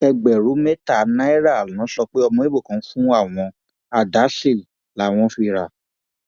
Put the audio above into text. ẹgbẹrún mẹta náírà ló sọ pé ọmọ ibo kò fún àwọn àdá sí làwọn fi rà